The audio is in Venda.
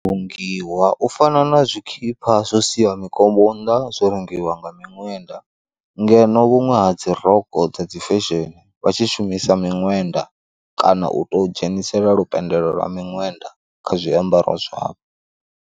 Vhulungiwa u fana na tshikhipha zwo sia mikombo nnḓa zwo rungiwa nga miṅwenda, ngeno vhuṅwe ha dzi rokho dza dzi fesheni vha tshi shumisa miṅwenda kana u to dzhenisela lu phendelo lwa miṅwenda kha zwiambaro zwavho.